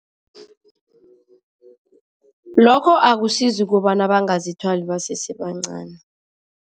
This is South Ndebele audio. Lokho akusizi kobana bangazithwali basesebancani